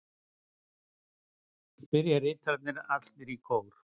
spyrja ritararnir allir í kór.